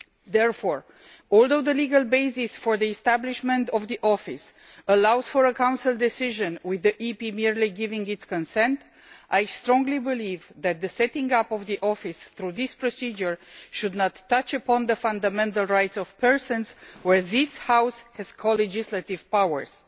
Therefore, although the legal basis for the establishment of the Office allows for a Council decision, with the EP merely giving its consent, I strongly believe that the setting up of the Office through this procedure should not touch upon the fundamental rights of persons, where this House has co legislative powers.